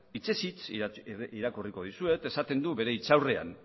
hitzez hitz irakurriko dizuet esaten du bere hitz aurrean